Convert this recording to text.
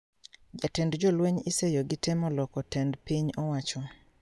Jatend jolweny iseyo gi temo loko tend piny owacho